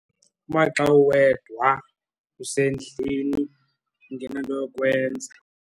Maxa uwedwa, usendlini ungenanto yokwenza.